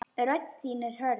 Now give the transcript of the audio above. Rödd þín er hörð.